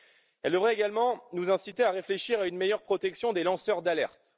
Elle devrait également vous inciter à réfléchir à une meilleure protection des lanceurs d'alerte.